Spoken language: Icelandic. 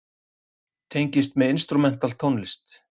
Tengist með instrumental tónlist.